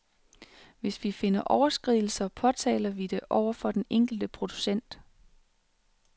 Hvis vi finder overskridelser, påtaler vi det over for den enkelte producent.